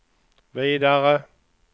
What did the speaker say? vidare